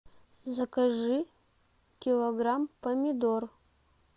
закажи килограмм помидор